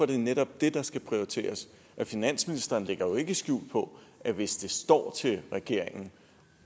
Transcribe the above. det netop det der skal prioriteres for finansministeren lægger jo ikke skjul på at hvis det står til regeringen